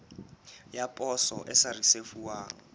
ya poso e sa risefuwang